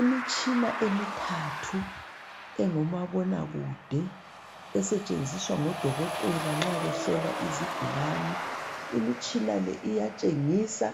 Imitshina emithathu engomabona kude esetshenziswa ngodokotela nxa behlola izigulani. Imitshina le iyatshengisa